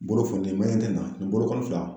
Bolo fununen, e ɲɛ tɛ nin na nin bolo kɔni fila